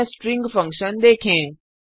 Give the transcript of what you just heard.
अन्य string function देखें